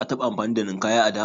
Ka taɓa amfani da Ninkaya a da?